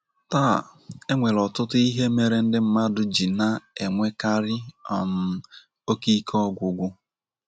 Taa, e nwere ọtụtụ ihe mere ndị mmadụ ji na - enwekarị um oke ike ọgwụgwụ.